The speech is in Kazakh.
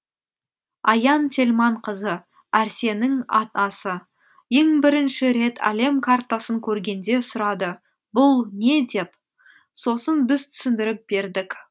аян телманқызы әрсеннің атасы ең бірінші рет әлем картасын көргенде сұрады бұл не деп сосын біз түсіндіріп бердік